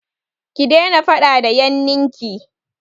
Ki daina faɗa da yannin ki!